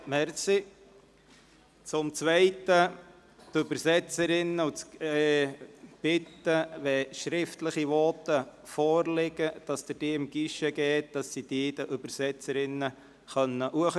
Dies, damit die Übersetzerinnen Ihren Text bereits haben und so etwas besser übersetzen können.